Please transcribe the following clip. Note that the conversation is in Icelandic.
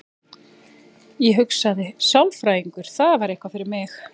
Ég hugsaði: sálfræðingur, það væri eitthvað fyrir mig.